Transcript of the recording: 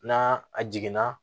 N'a a jiginna